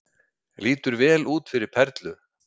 Lítur vel út fyrir Perlu